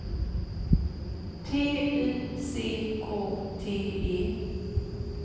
T Y C K T E